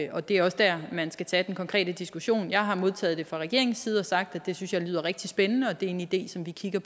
og det er også der man skal tage den konkrete diskussion jeg har modtaget det fra regeringens side og sagt at jeg synes det lyder rigtig spændende og det er en idé som vi kigger